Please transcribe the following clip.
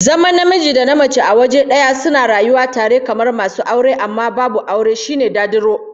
Zaman namiji da mace a waje daya suna rayuwa tare kamar masu aure amma babu aure, shine dadiro